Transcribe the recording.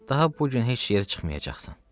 Daha bu gün heç yerə çıxmayacaqsan.